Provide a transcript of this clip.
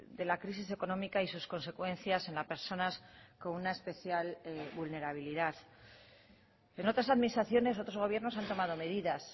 de la crisis económica y sus consecuencias en las personas con una especial vulnerabilidad en otras administraciones otros gobiernos han tomado medidas